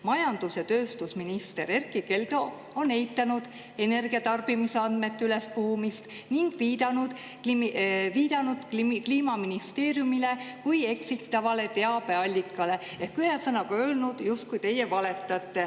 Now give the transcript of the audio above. Majandus- ja tööstusminister Erkki Keldo on eitanud energiatarbimise andmete ülespuhumist ning viidanud Kliimaministeeriumile kui eksitavale teabeallikale ehk ühesõnaga öelnud, et teie justkui valetate.